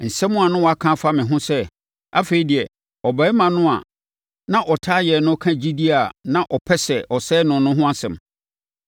Nsɛm a na wɔaka afa me ho sɛ, “Afei deɛ, ɔbarima no a na ɔtaa yɛn no ka gyidie a na ɔpɛ sɛ ɔsɛe no no ho asɛm.”